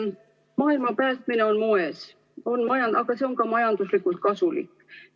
Maailma päästmine on moes, aga see on ka majanduslikult kasulik.